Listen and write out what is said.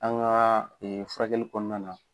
An ŋaa furakɛli kɔɔna na